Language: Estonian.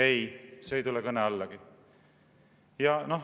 Ei, see ei tule kõne allagi.